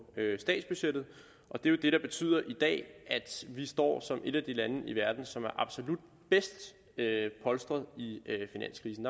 statsbudgettet og det er jo det der betyder i dag står som et af de lande i verden som er absolut bedst polstret i finanskrisen